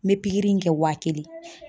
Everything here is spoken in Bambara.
N bɛ pikiri in kɛ wa kelen.